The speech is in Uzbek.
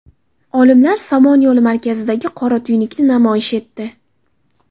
Olimlar Somon yo‘li markazidagi qora tuynukni namoyish etdi.